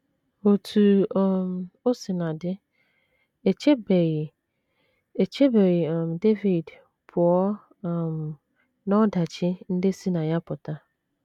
Otú um o sina dị, e chebeghị, e chebeghị um Devid pụọ um n’ọdachi ndị si na ya pụta.